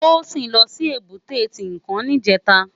Tosin lò si ébùté Tinkán nijètá